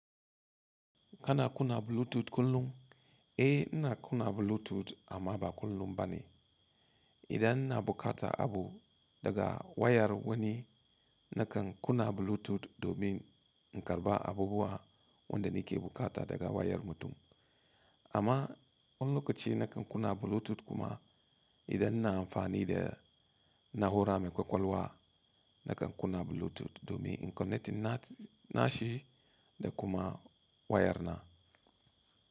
Kana kunna Bluetooth kullum? Eh, ina kunna Bluetooth amma ba kullum ba ne. Idan ina bukata abu daga wayar wani, nakan kunna Bluetooth domin in karba abubuwa wanda nake bukata daga wayar mutum. Amma wani lokaci nakan kuna Bluetooth kuma idan ina amfani da na hura mai kwakwalwa, nakan kuna Bluetooth domin in connecting nashi da kuma wayar na.